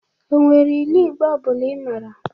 O nwere ilu Igbo ọ bụla Ị mara?